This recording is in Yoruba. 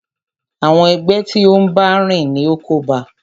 Àwọn ẹgbẹ́ tí o n bá rìn ní o kóba a.